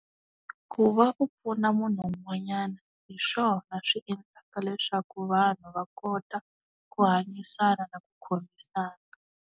Ku va u pfuna munhu un'wanyana hi swona swi endlaka leswaku vanhu va kota ku hanyisana na ku khomisana.